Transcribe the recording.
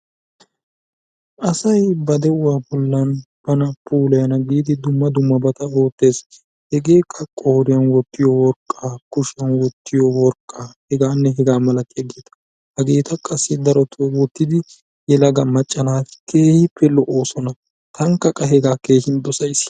Asay ba de'uwa bollan bana puulayana giidi dumma dummabata oottes. Hegeekka qooriyan wottiyo worqqaa, kushiyan wottiyo worqqaa hegaanne hegaa malatiyageeta. Hageeta qassi daroto wottidi yelaga macca naati keehippe lo'oosona. tankka qa hegaa keehin dosayis.